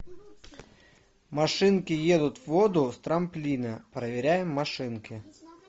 машинки едут в воду с трамплина проверяем машинки